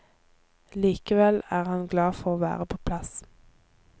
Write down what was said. Likevel er han glad for å være på plass.